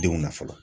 Denw na fɔlɔ